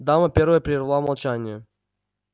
дама первая перервала молчание